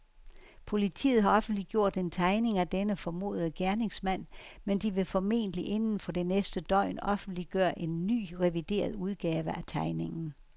Politiet har offentliggjort en tegning af denne formodede gerningsmand, men de vil formentlig inden for det næste døgn offentliggøre en ny, revideret udgave af tegningen.